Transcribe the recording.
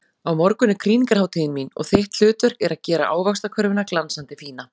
Á morgun er krýningarhátíðin mín og þitt hlutverk er að gera ávaxtakörfuna glansandi fína.